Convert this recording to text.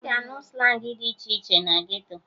Ị ga-anụ slangị dị iche iche na geto